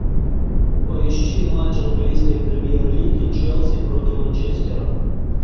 поищи матч английской премьер лиги челси против манчестера